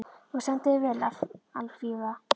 Þú stendur þig vel, Alfífa!